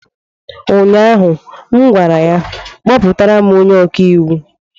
ụnyaahụ m gwara ya, kpọtara m onye ọka iwu!